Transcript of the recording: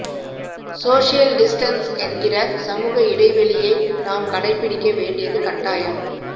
social distance என்கிற சமூக இடைவெளியை நாம் கடைபிடிக்க வேண்டியது கட்டாயம்